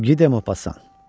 Gide Maupassant.